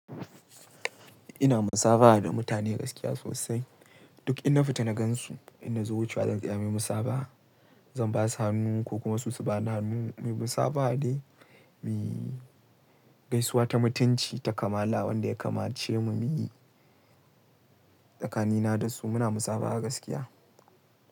Ina musabaha da mutane gaskiya sosai. Duk in na fita na gan su, in na zo wucewa zan tsaya muyi musaba'a. Zan ba su hannu ko kuma su su ba ni hannu. Muyi musabaha dai, gaisuwa ta mutunci ta kamala wanda ya kamace mu muyi tsakanina da su muna musabaha gaskiya.